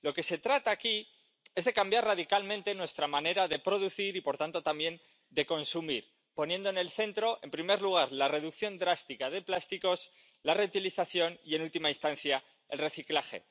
De lo que se trata aquí es de cambiar radicalmente nuestra manera de producir y, por tanto también, de consumir, poniendo en el centro, en primer lugar, la reducción drástica de plásticos, la reutilización y, en última instancia, el reciclaje.